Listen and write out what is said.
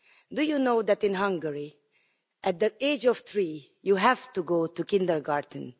Do you know that in Hungary at the age of three you have to go to kindergarten?